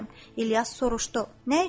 İlyas soruşdu: Nə üçün mənim ruhum?